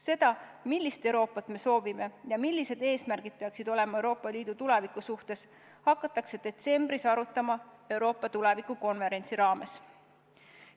Seda, millist Euroopat me soovime ja millised eesmärgid peaksid olema Euroopa Liidu tuleviku suhtes, hakatakse detsembris arutama Euroopa tuleviku konverentsi raames.